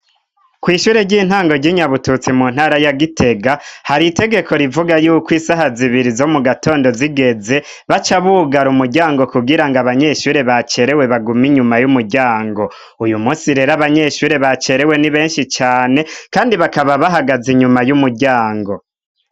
Kw' ishure ry'intango ry'i Nyabututsi mu ntara ya Gitega hari itegeko rivuga yuko isaha zibiri zo mu gatondo zigeze, baca bugara umuryango kugira ngo abanyeshure bacerewe bagume inyuma y'umuryango. Uyu munsi rero abanyeshure bacerewe ni benshi cane, kandi bakaba bahagaze inyuma y'umuryango.